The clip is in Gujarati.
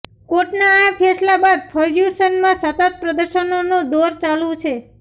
કોર્ટના આ ફેંસલા બાદ ફર્ગ્યુસનમાં સતત પ્રદર્શનોનો દૌર ચાલુ છે